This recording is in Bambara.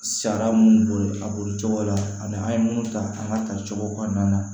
Sara minnu bolo a bolo cogo la ani an ye minnu ta an ka tali cogo kɔnɔna na